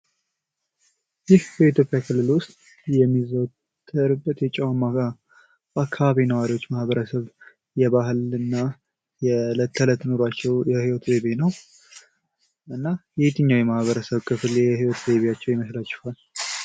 ይህ በኢትዮጵያ ክልል ውስጥ የሚዘወተርበት የጨዋማ አካባቢ ነዋሪዎች ማኅበረሰብ የባህል እና የእለት ተዕለት ኑሯቸው የህይወት ዘይቤ ነው ። እና የየትኛው የማኅበረሰብ ክፍል የህይወት ዘይቢያቸው ይመስላችኋል?